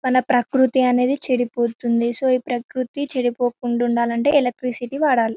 మన ప్రకృతి అనేది చెడిపోతుంది సో ఈ ప్రకృతి చెడిపోకుండా ఉండాలంటే ఎలక్ట్రిసిటీ వాడాలి.